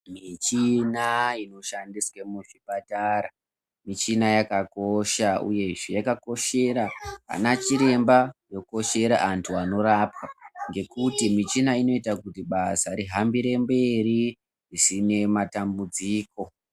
Michina inoshandiswa muzvipatara, michina yakakosha uyezve yakakoshera anachiremba, yokoshera andu wanorapwa ngekuti michina inoita kuti basa rihambire mberi zvisine matambudziko.